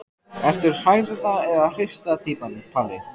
Ertu hrærða eða hrista týpan Palli?